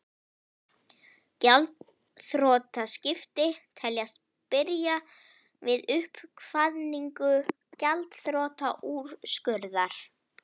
Gjaldþrotaskipti teljast byrja við uppkvaðningu gjaldþrotaúrskurðar.